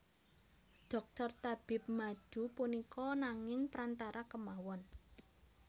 Dhokter tabib madu punika nanging prantara kemawon